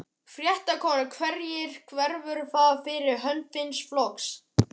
Fréttakona: Hverjir verða það fyrir hönd þíns flokks?